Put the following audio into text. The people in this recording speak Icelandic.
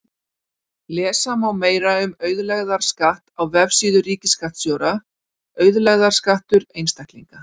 Lesa má meira um auðlegðarskatt á vefsíðu ríkisskattstjóra: Auðlegðarskattur einstaklinga